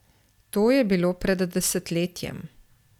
To je bilo pred desetletjem.